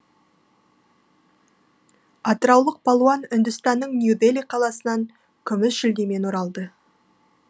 атыраулық палуан үндістанның нью дели қаласынан күміс жүлдемен оралды